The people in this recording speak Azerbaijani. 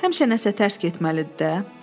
Həmişə nəsə tərs getməlidir də.